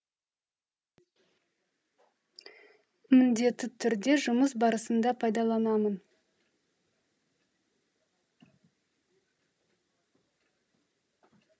міндетті түрде жұмыс барысында пайдаланамын